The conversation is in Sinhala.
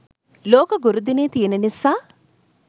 ලෝක ගුරු දිනය තියෙන නිසා.